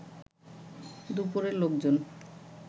দুপরে লোকজন